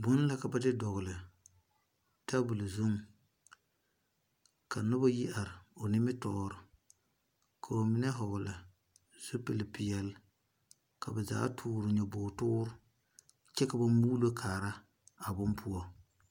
Buma la ka de dɔgli tabol zung ka nuba yi arẽ ɔ nimitoɔre kaba mene vɔgle zupili peɛle ka ba zaa tuori nyabɔg wuuri kye ka ba muulo kaaraa a bun pou.